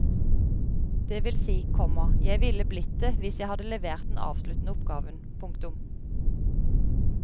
Det vil si, komma jeg ville blitt det hvis jeg hadde levert den avsluttende oppgaven. punktum